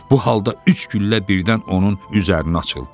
Bu halda üç güllə birdən onun üzərinə açıldı.